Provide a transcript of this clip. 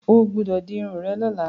Ó gbúdọ̀ di irun rẹ lọ́la.